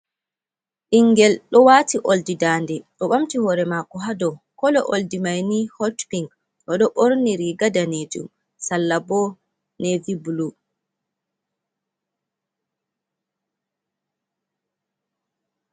Ɓingel ɗo wati olɗi nɗanɗe. Ɗo ɓamti hore mako ha ɗow. Kolo olɗi maini Hot pin. Oɗo borni riga ɗanejum, sallaɓo nevi Bulu.